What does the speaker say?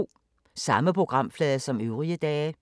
Samme programflade som øvrige dage